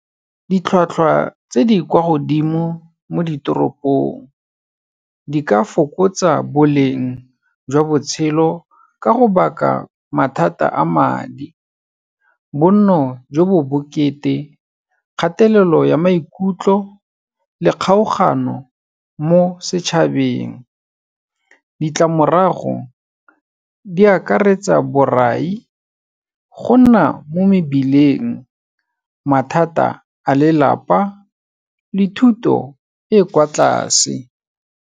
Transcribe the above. Ditlhwatlhwa tse di kwa godimo mo ditoropong di ka fokotsa boleng jwa botshelo ka go baka mathata a madi, bonno jo bo bokete, kgatelelo ya maikutlo le kgaogano mo setšhabeng. Ditlamorago di akaretsa borai, go nna mo mebileng, mathata a lelapa le thuto e kwa tlase.